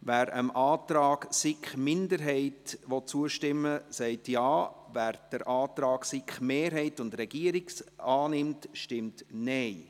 Wer dem Antrag der SiK-Minderheit zustimmt, stimmt Ja, wer den Antrag von SiK-Mehrheit und Regierung annimmt, stimmt Nein.